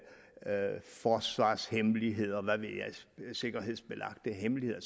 forsvarshemmeligheder og sikkerhedsbelagte hemmeligheder